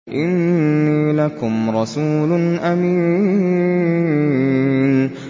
إِنِّي لَكُمْ رَسُولٌ أَمِينٌ